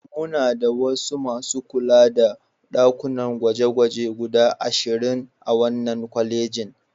Muna da masu kula da ɗakunan gwaje-gwaje guda ashirin a wannan kwalejin.